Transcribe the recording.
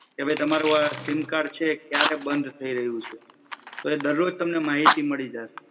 તમે તમારો આ સિમ કાર્ડ છે ક્યારે બન્દ થઈ રહ્યું છે તો એ દરરોજ તમને માહિતી મળી જશે.